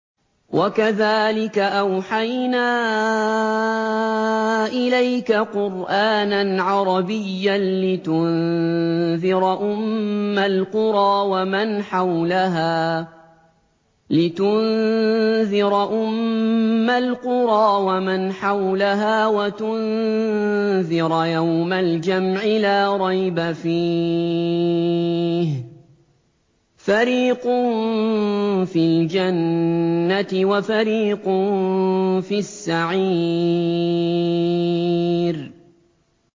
وَكَذَٰلِكَ أَوْحَيْنَا إِلَيْكَ قُرْآنًا عَرَبِيًّا لِّتُنذِرَ أُمَّ الْقُرَىٰ وَمَنْ حَوْلَهَا وَتُنذِرَ يَوْمَ الْجَمْعِ لَا رَيْبَ فِيهِ ۚ فَرِيقٌ فِي الْجَنَّةِ وَفَرِيقٌ فِي السَّعِيرِ